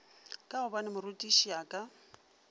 ka gobane morutiši a ka